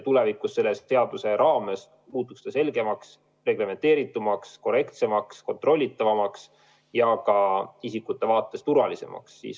Tulevikus see muutuks selle seaduse raames selgemaks, reglementeeritumaks, korrektsemaks, kontrollitavamaks ja isikute vaates turvalisemaks.